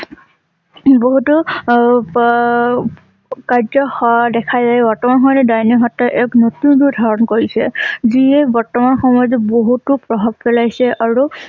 বহুতো অপ কাৰ্য হ দেখা যায়। বৰ্তমান সমত ডাইনী হত্যাৰ এক নতুন ৰূপ ধাৰণ কৰিছে । যিয়ে বৰ্তমান সময়ত বহুতো প্ৰভাৱ পেলাইছে আৰু